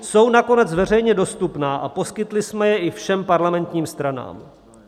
Jsou nakonec veřejně dostupná a poskytli jsme je i všem parlamentním stranám.